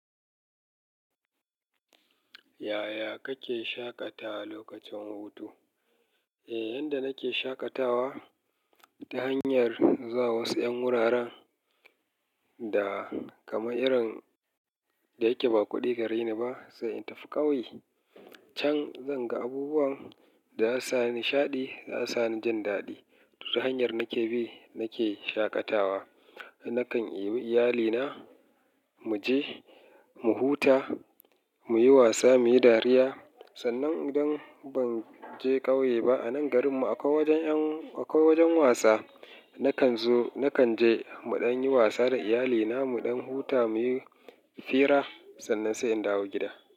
Yaya kake shaƙata lokacin hutu? Eh, yanda nake shaƙatawa ta hanyar zuwa wasu 'yan wuraren da kamar irin da yake ba kuɗi gare ni ba, sai in tafi ƙauye. Can zan ga abubuwan da za su sa ni nishaɗi, za su sa ni jin daɗi. Ta hanyar nake bi nake shaƙatawa. Nakan ɗebi iyalina mu je mu huta, mu yi wasa, mu yi dariya. Sannan idan ban je ƙauye ba, a nan garinmu akwai wajen yan-- akwai wajen wasa. Nakan zo-- nakan je muɗan yi wasa da iyalina, muɗan huta, muyi fira. Sannan sai in dawo gida.